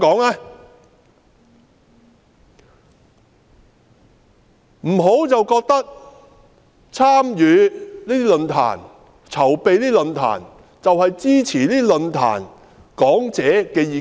不要認為參與及籌辦論壇，便是支持論壇講者的意見。